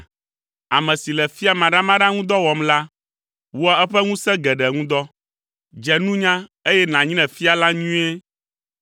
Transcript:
Ame si le fia maɖamaɖa ŋu dɔ wɔm la, wɔa eƒe ŋusẽ geɖe ŋu dɔ. Dze nunya eye nànyre fia la nyuie.